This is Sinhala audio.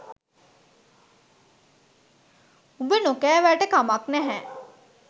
උඹ නොකැවට කමක් නැහැ